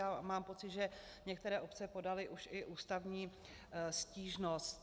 A mám pocit, že některé obce podaly už i ústavní stížnost.